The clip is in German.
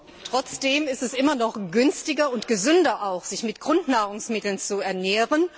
Trotzdem ist es immer noch günstiger und gesünder, sich mit Grundnahrungsmitteln zu ernähren.